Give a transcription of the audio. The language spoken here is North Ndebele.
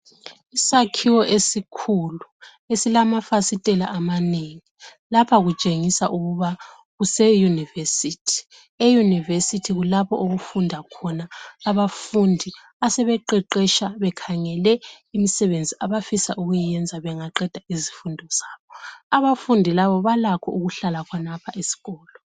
Isakhiwo esikhulu esilamafasitela amanengi. Lapha kutshengisa ukuba kuseyunivesithi. EYunivesithi kulapho okufunda khona abafundi asebeqeqetsha bekhangele imisebenzi abafisa ukuyenza bengaqeda izifundo zabo. Abafundi laba balakho ukuhlala khonapho esikolo.